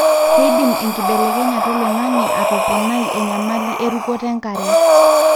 keidim enkibelekenyata oloingange atoponai enyamali erukoto enkare.